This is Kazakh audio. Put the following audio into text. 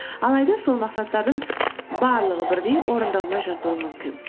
алайда сол мақсаттардың барлығы бірдей орындалмай жатуы мүмкін